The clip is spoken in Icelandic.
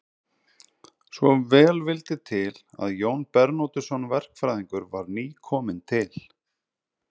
Svo vel vildi til að Jón Bernódusson verkfræðingur var nýkominn til